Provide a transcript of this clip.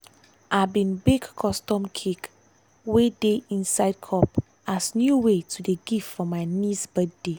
i bin bake custom cake wey dey inside cup as new way to dey give for my niece birthday.